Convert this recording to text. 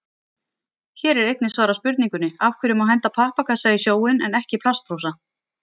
Hér er einnig svarað spurningunni: Af hverju má henda pappakassa í sjóinn en ekki plastbrúsa?